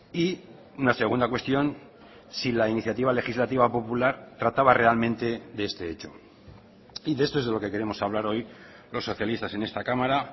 y una segunda cuestión si la iniciativa legislativa popular trataba realmente de este hecho y de esto es de lo que queremos hablar hoy los socialistas en esta cámara